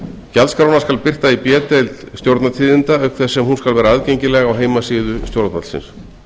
gjaldskrána skal birta í b deild stjórnartíðinda auk þess sem hún skal vera aðgengileg á heimasíðu stjórnvaldsins